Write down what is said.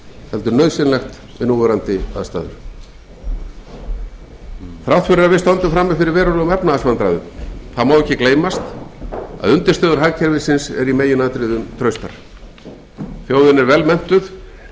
heldur nauðsynlegt við núverandi aðstæður þrátt fyrir að við stöndum frammi fyrir verulegum efnahagsvandræðum má ekki gleymast að undirstöður hagkerfisins eru í meginatriðum traustar þjóðin er vel menntuð